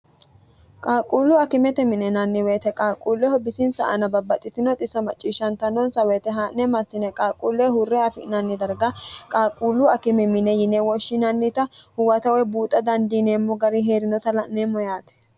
qaaqquullu akimete minenanni woyite qaaquulleho bisinsa ana babbaxxitinox iso macciishshantannonsa woyite haa'ne massine qaaquulleho hurre afi'nanni darga qaaquullu akime mine yine woshshinannita huwata woye buuxa dandiineemmo gari hee'rinota la'neemmo yaati